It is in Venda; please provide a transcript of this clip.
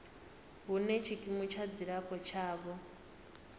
hune tshikimu tsha dzilafho tshavho